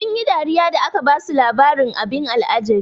Sun yi dariya da aka basu labarin abin al'ajabi.